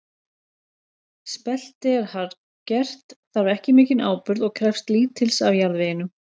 Spelti er harðgert, þarf ekki mikinn áburð og krefst lítils af jarðveginum.